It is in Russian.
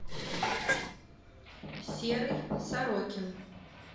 серый сорокин